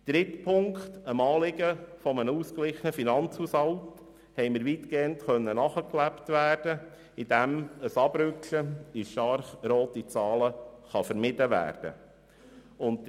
Drittens konnte dem Anliegen eines ausgeglichenen Finanzhaushalts weitgehend nachgelebt werden, indem ein Abrutschen in stark rote Zahlen vermieden werden konnte.